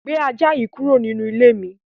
Gbé ajá yìí kúrò nínú ilé mi!